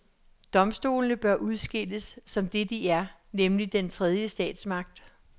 Domstolene bør udskilles, som det de er, nemlig den tredje statsmagt.